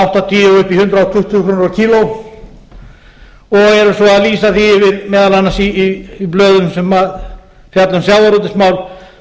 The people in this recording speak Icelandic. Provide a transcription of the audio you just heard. áttatíu og upp í hundrað tuttugu krónur á kílógramm og eru svo að lýsa því yfir meðal annars í blöðum sem fjalla um sjávarútvegsmál að